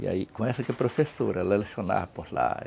E aí professora, ela lecionária por lá.